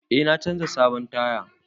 Eh na canza sabon taya.